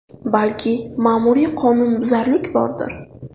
Balki, ma’muriy qonunbuzarlik bordir.